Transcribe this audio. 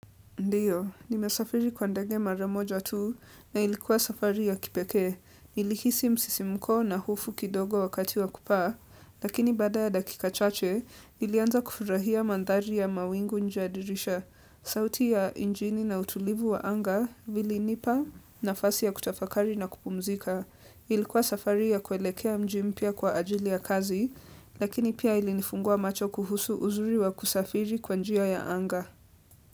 Ndiyo, nimesafiri kwa ndege mara moja tu na ilikuwa safari ya kipekee. Nilihisi msisimko na hofu kidogo wakati wa kupaa, lakini bada ya dakika chache, nilianza kufurahia mandhari ya mawingu nje ya dirisha. Sauti ya nchini na utulivu wa anga vilinipa nafasi ya kutafakari na kupumzika. Ilikuwa safari ya kuelekea mji mpya kwa ajili ya kazi, lakini pia ilinifungua macho kuhusu uzuri wa kusafiri kwa njia ya anga.